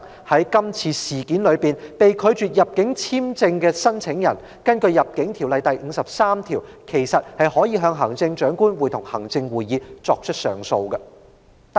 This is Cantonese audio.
在今次的事件中被拒發入境簽證的申請人，其實可以根據《入境條例》第53條，向行政長官會同行政會議提出上訴。